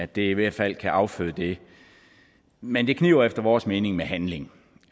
det i hvert fald kan afføde det men det kniber efter vores mening med handling